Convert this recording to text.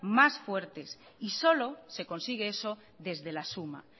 más fuertes y solo se consigue eso desde la suma